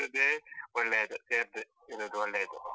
ಇರುದೇ ಒಳ್ಳೆಯದು, ಸೇರ್ದೆ ಇರುದು ಒಳ್ಳೆಯದು.